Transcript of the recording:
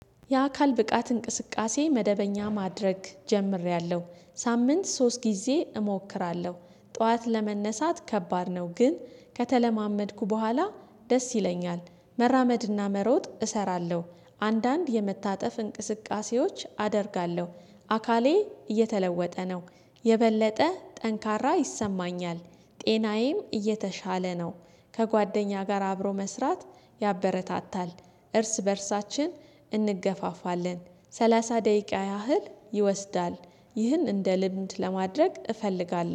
የአካል ብቃት እንቅስቃሴ መደበኛ ማድረግ ጀምሬያለሁ ሳምንት ሶስት ጊዜ እሞክራለሁ ጠዋት ለመነሳት ከባድ ነው ግን ከተለማመድኩ በኋላ ደስ ይለኛል መራመድና መሮጥ እሰራለሁ። አንዳንድ የመታጠፍ እንቅስቃሴዎች አደርጋለሁ። አካሌ እየተለወጠ ነው። የበለጠ ጠንካራ ይሰማኛል። ጤናዬም እየተሻለ ነው። ከጓደኛ ጋር አብሮ መስራት ያበረታታል። እርስ በእርሳችን እንገፋፋለን። ሰላሳ ደቂቃ ያህል ይወስዳል። ይህን እንደ ልምድ ለማድረግ እፈልጋለሁ